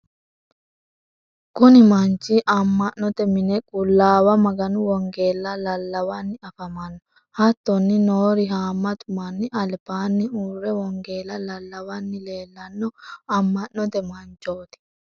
kuni manchi amanote mine qulaawa maganu wongella lallawanni afamanno. hattonni noori haamatu manni albaanni uurre wongella lallawanni leellanno aman'note manchoti.